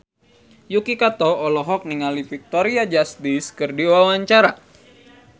Yuki Kato olohok ningali Victoria Justice keur diwawancara